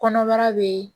Kɔnɔbara bɛ